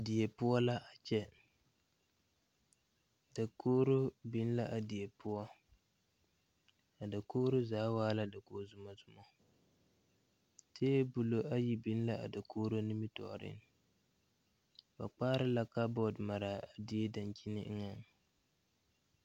Die poɔ la a kyɛ dakogro biŋ la a die poɔ a dakogro zaa waa la dakoge zumɔzumɔ tabolɔ ayi biŋ la a dakogro nimitooreŋ ba kpaare la kabɔɔte maraa a die dankyime eŋɛ.